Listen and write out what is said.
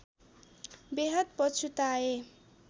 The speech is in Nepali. बेहद पछुताए